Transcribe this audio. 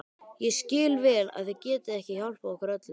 Ég skil vel að þið getið ekki hjálpað okkur öllum.